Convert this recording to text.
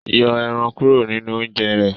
Yọ èràn kúrò ninú oúnjẹ rẹ